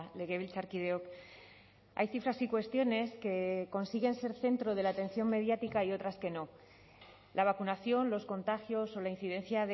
legebiltzarkideok hay cifras y cuestiones que consiguen ser centro de la atención mediática y otras que no la vacunación los contagios o la incidencia